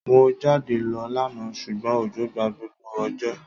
Mo jáde lo lánà sùgbón òjò gba gbogbo òjò